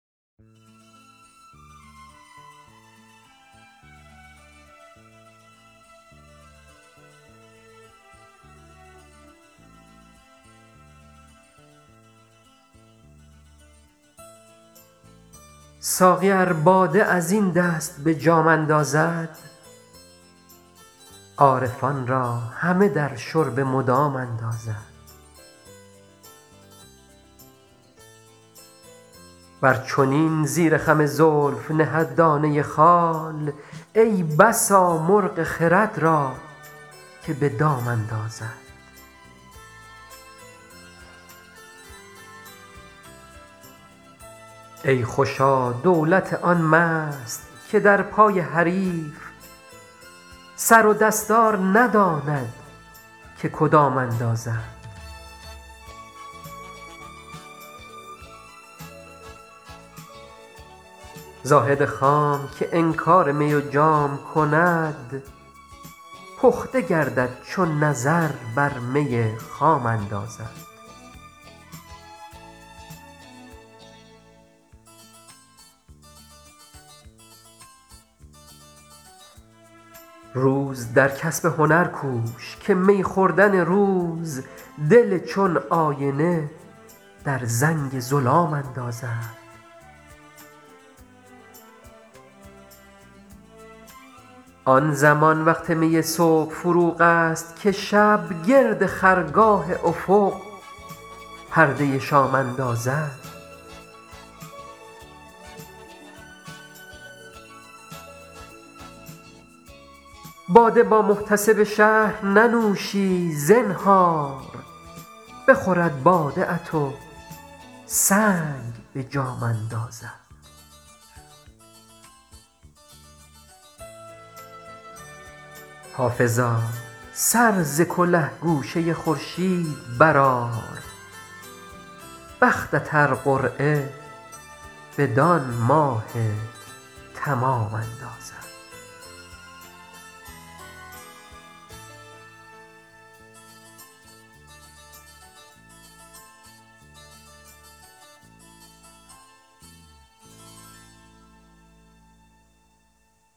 ساقی ار باده از این دست به جام اندازد عارفان را همه در شرب مدام اندازد ور چنین زیر خم زلف نهد دانه خال ای بسا مرغ خرد را که به دام اندازد ای خوشا دولت آن مست که در پای حریف سر و دستار نداند که کدام اندازد زاهد خام که انکار می و جام کند پخته گردد چو نظر بر می خام اندازد روز در کسب هنر کوش که می خوردن روز دل چون آینه در زنگ ظلام اندازد آن زمان وقت می صبح فروغ است که شب گرد خرگاه افق پرده شام اندازد باده با محتسب شهر ننوشی زنهار بخورد باده ات و سنگ به جام اندازد حافظا سر ز کله گوشه خورشید برآر بختت ار قرعه بدان ماه تمام اندازد